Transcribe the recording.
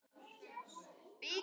Anna og Nökkvi.